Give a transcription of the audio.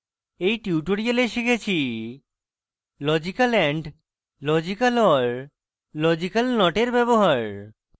in tutorial শিখেছি: